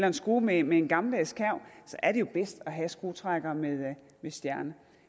en skrue med en gammeldags kærv er det jo bedst at have skruetrækkere med stjerne